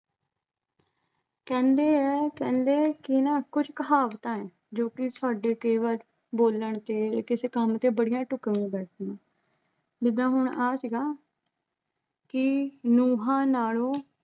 ਕਹਿੰਦੇ ਆ ਕਹਿੰਦੇ ਕਿ ਨਾ ਕੁਝ ਕਹਾਵਤਾਂ ਐਂ ਜੋ ਕਿ ਤੁਹਾਡੇ ਕੇਵਲ ਬੋਲਣ ਤੇ ਜਾਂ ਕਿਸੇ ਕੰਮ ਤੇ ਬੜੀਆਂ ਢੁਕਵੀਆਂ ਬੈਠਦੀਆਂ ਜਿੱਦਾਂ ਹੁਣ ਆ ਸੀਗਾ ਕਿ ਨੁੰਹਾਂ ਨਾਲੋਂ